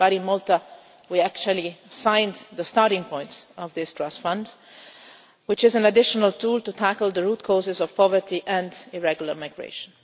But in Malta we actually signed the starting point of this Trust Fund, which is an additional tool to tackle the root causes of poverty and irregular migration.